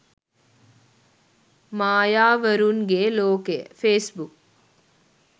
mayawarunge lokaya facebook